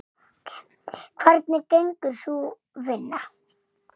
Hvernig gengur sú vinna?